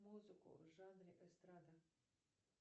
музыку в жанре эстрада